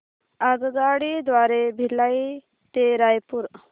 आगगाडी द्वारे भिलाई ते रायपुर